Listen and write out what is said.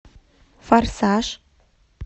форсаж